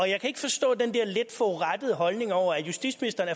jeg kan ikke forstå den der lidt forurettede holdning over at justitsministeren